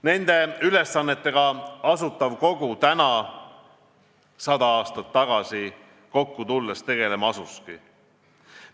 Nende ülesannetega Asutav Kogu täna 100 aastat tagasi kokku tulles tegelema asuski.